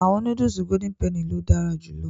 Awọn nudulu Golden Penny lo dara julọ